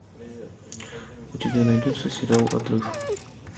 у тебя найдется сериал отрыв